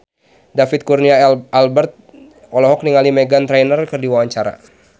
David Kurnia Albert olohok ningali Meghan Trainor keur diwawancara